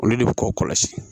Olu de bi k'o kɔlɔsi